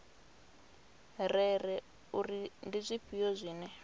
rere uri ndi zwifhio zwine